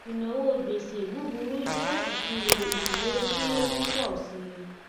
ìnáwó gbèsè búburú jẹ ìṣirò ìnáwó tí ó ń pọ sí i